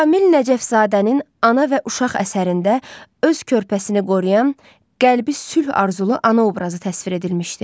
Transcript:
Kamil Nəcəfzadənin ana və uşaq əsərində öz körpəsini qoruyan, qəlbi sülh arzulu ana obrazı təsvir edilmişdi.